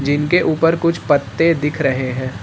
इनके ऊपर कुछ पत्ते दिख रहे हैं।